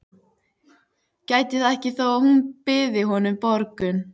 Gæti það ekki þó að hún byði honum borgun.